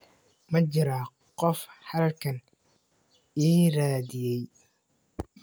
Ma jiraa qof halkan i raadiyay?